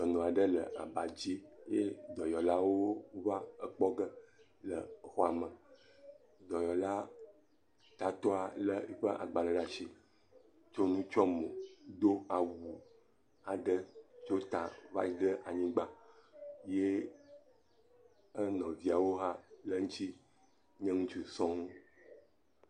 Dɔnɔ aɖe le aba dzi ye dɔyɔlawo va ekpɔ ge le xɔa me. Dɔyɔla tatɔ le eƒe agbale ɖe asi tso nu tsɔ mo, do awu aɖe tso ta va yi ɖe anyigba ye enɔviawo hã le eŋuti nye ŋutsu sɔŋ.